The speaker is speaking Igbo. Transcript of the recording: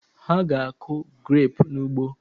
Ha ga-akụ grapụ n'ugbo